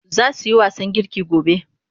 Za su yi wasan girki gobe.